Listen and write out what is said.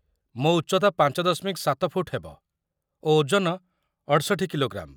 ମୋ ଉଚ୍ଚତା ୫.୭ ଫୁଟ ହେବ ଓ ଓଜନ ୬୮କି.ଗ୍ରା. ।